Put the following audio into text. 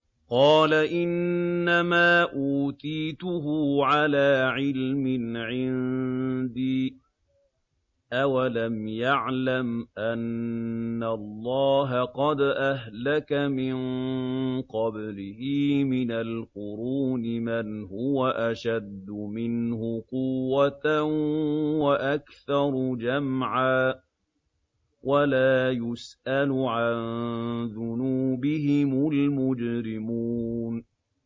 قَالَ إِنَّمَا أُوتِيتُهُ عَلَىٰ عِلْمٍ عِندِي ۚ أَوَلَمْ يَعْلَمْ أَنَّ اللَّهَ قَدْ أَهْلَكَ مِن قَبْلِهِ مِنَ الْقُرُونِ مَنْ هُوَ أَشَدُّ مِنْهُ قُوَّةً وَأَكْثَرُ جَمْعًا ۚ وَلَا يُسْأَلُ عَن ذُنُوبِهِمُ الْمُجْرِمُونَ